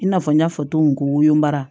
I n'a fɔ n y'a fɔ cogo min ko wolon